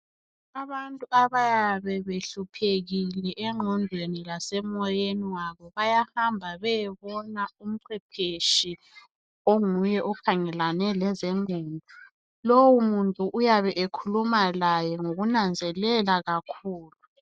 Abantu abayabe behluphekile engqondweni lasemoyeni wabo bayahamba beyebona umcwepheshi onguye okhangelane lezengqondo, lo muntu uyabe ekhuluma laye ngokunanzelela kakhulu.